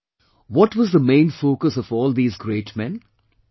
And, what was the main focus of all these great men